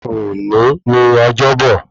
Òní ni ọjọ́bọ̀